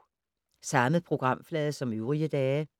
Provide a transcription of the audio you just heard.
Samme programflade som øvrige dage